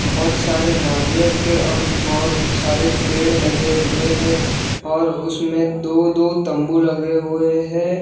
बहोत सारे नारियल के और बहोत सारे पेड़ लगे हुए है और उसमें दो दो तंबू लगे हुए है।